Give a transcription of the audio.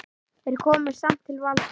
Þeir komust samt til valda.